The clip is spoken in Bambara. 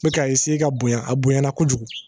N bɛ ka ka bonya a bonyana kojugu